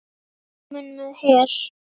Kominn með her!